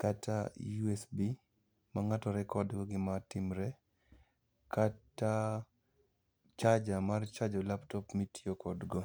Kata USB, ma ng'ato rekodgo gima timre, kata charger mar chajo[cs laptop mitiyo kodgo.